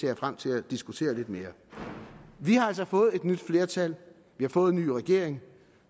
jeg frem til at diskutere lidt mere vi har altså fået et nyt flertal vi har fået en ny regering